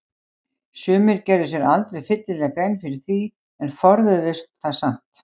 Sumir gerðu sér aldrei fyllilega grein fyrir því en forðuðust þá samt.